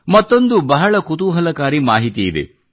ಮತ್ತೊಂದು ಬಹಳ ಕುತೂಹಲಕಾರಿ ಮಾಹಿತಿ ಇದೆ